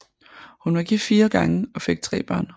Hun var gift fire gange og fik tre børn